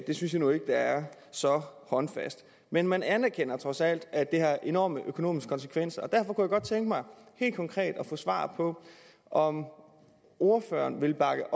det synes jeg jo ikke er så håndfast men man anerkender trods alt at det har enorme økonomiske konsekvenser derfor kunne jeg godt tænke mig helt konkret at få svar på om ordføreren vil bakke